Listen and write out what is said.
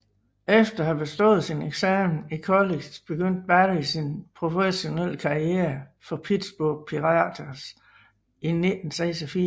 Efter at have bestået sin eksamen i college begyndte Barry sin professionelle karriere for Pittsburgh Pirates i 1986